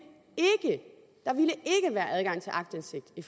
være adgang til aktindsigt i